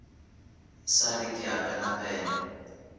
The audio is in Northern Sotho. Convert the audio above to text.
sa re ke a penapena